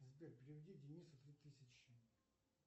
сбер переведи денису три тысячи